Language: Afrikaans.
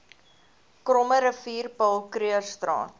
krommerivier paul krugerstraat